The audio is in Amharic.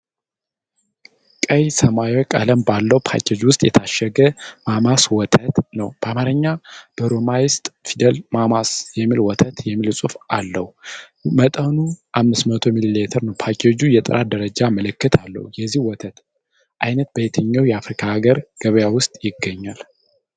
ቀይና ሰማያዊ ቀለም ባለው ፓኬጅ ውስጥ የታሸገ ማማስ ወተት ነው። በአማርኛና በሮማይስጥ ፊደል"ማማ'ስ ሚልክ ወተት" የሚል ጽሑፍ አለው። መጠኑ 500 ሚሊ ሊትር ነው። ፓኬጁ የጥራት ደረጃ ምልክት አለው። የዚህ ወተት አይነት በየትኛው የአፍሪካ ሀገር ገበያ ውስጥ ይገኛል?